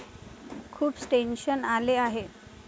खूप टेन्शन आले आहे.